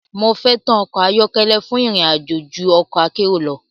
Mo fẹ́tàn ọkọ̀ ayọ́kẹ́lẹ́ fún ìrìn àjò ju ọ̀kọ̀ akérò lọ.